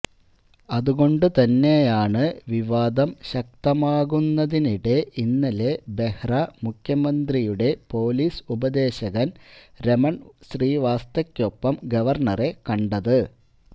അതുകൊണ്ടു തന്നെയാണ് വിവാദം ശക്തമാകുന്നതിനിടെ ഇന്നലെ ബെഹ്റ മുഖ്യമന്ത്രിയുടെ പൊലീസ് ഉപദേശകൻ രമൺ ശ്രീവാസ്തവക്കൊപ്പം ഗവർണറെ കണ്ടത്